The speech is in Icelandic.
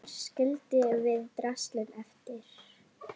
Þar skildum við draslið eftir.